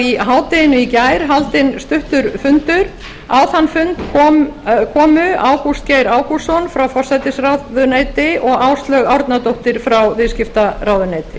í hádeginu í gær var haldinn stuttur fundur á þann fund komu ágúst geir ágústsson frá forsætisráðuneyti og áslaug árnadóttir frá viðskiptaráðuneyti